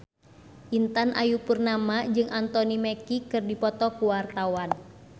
Intan Ayu Purnama jeung Anthony Mackie keur dipoto ku wartawan